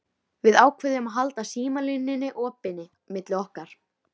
Við ákváðum að halda símalínunni opinni milli okkar.